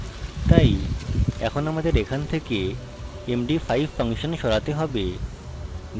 তাই এখন আমাদের এখান থেকে md5 ফাংশন সরাতে হবে